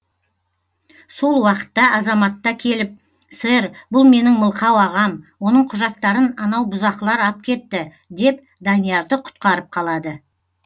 сол уақытта азаматта келіп сэр бұл менің мылқау ағам оның құжаттарын анау бұзақылар ап кетті деп даниярды құтқарып қалады